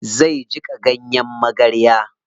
Zai jiƙa ganyen magarya.